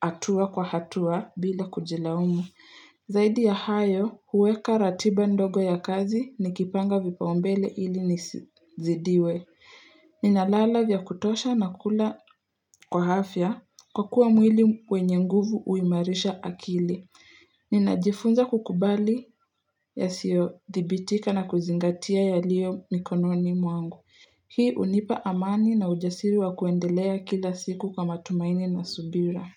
hatua kwa hatua bila kujilaumu. Zaidi ya hayo, huweka ratiba ndogo ya kazi nikipanga vipaumbele ili nisizidiwe. Ninalala vya kutosha na kula kwa afya kwa kuwa mwili wenye nguvu huimarisha akili. Ninajifunza kukubali yasiyo dhibitika na kuzingatia yaliyo mikononi mwangu. Hii hunipa amani na ujasiri wa kuendelea kila siku kwa matumaini na subira.